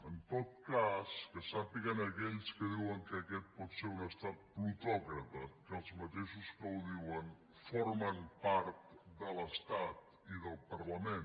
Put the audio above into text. en tot cas que sàpiguen aquells que diuen que aquest pot ser un estat plutòcrata que els mateixos que ho diuen formen part de l’estat i del parlament